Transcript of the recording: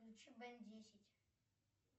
включи бен десять